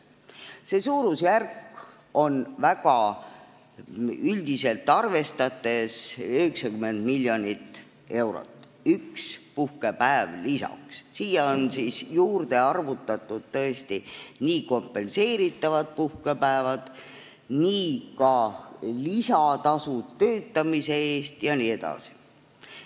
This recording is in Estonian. See suurusjärk on väga üldiselt arvestades 90 miljonit eurot: üks puhkepäev lisaks, sinna on juurde arvutatud kompenseeritavad puhkepäevad, lisatasud puhkepäeval töötamise eest jne.